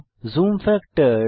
zoom factor